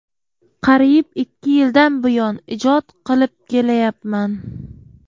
Qariyib ikki yildan buyon ijod qilib kelayapman.